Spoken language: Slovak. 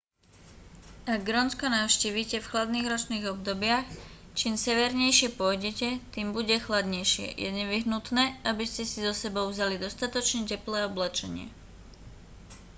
ak grónsko navštívite v chladných ročných obdobiach čím severnejšie pôjdete tým bude chladnejšie je nevyhnutné aby ste si so sebou vzali dostatočne teplé oblečenie